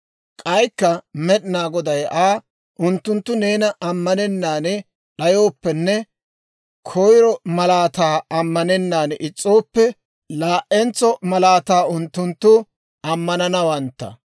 K'aykka Med'inaa Goday Aa, «Unttunttu neena ammanennaan d'ayooppenne koyro malaataa ammanennaan is's'ooppe, laa'entso malaata unttunttu ammananawantta.